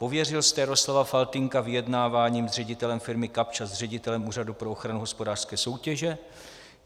Pověřil jste Jaroslava Faltýnka vyjednáváním s ředitelem firmy Kapsch a s ředitelem Úřadu pro ochranu hospodářské soutěže?